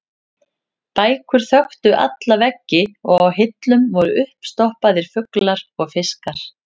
Bækur þöktu alla veggi og á hillum voru uppstoppaðir fuglar og fiskar.